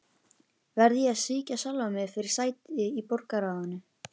Verð ég að svíkja sjálfan mig fyrir sæti í borgarráðinu?